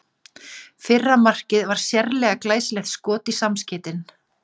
Fyrra markið var sérlega glæsilegt skot í samskeytin.